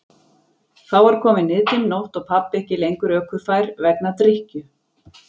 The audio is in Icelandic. Þá var komin niðdimm nótt og pabbi ekki lengur ökufær vegna drykkju.